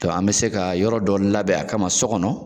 Tɔn an bɛ se ka yɔrɔ dɔ labɛn a kama so kɔnɔ.